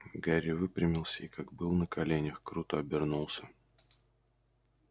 гарри выпрямился и как был на коленях круто обернулся